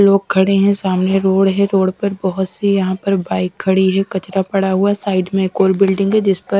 लोग खड़े हैं सामने रोड है रोड पर बहुत सी यहाँ पर बाइक खड़ी है कचरा पड़ा हुआ है साइड में एक और बिल्डिंग है जिस पर --